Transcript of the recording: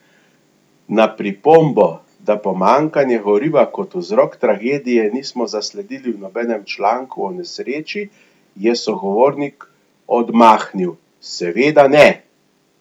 Na pripombo, da pomanjkanja goriva kot vzrok tragedije nismo zasledili v nobenem članku o nesreči, je sogovornik odmahnil: 'Seveda ne!